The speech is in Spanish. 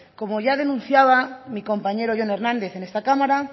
como ya denunciaba mi compañero jon hernández en esta cámara